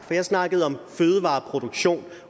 for jeg snakkede om fødevareproduktion